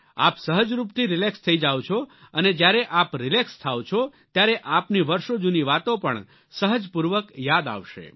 આપ સહજરૂપથી રિલેક્સ થઈ જાઓ છો અને જ્યારે આપ રિલેક્સ થાઓ છો ત્યારે આપની વર્ષો જૂની વાતો પણ સહજપૂર્વક યાદ આવશે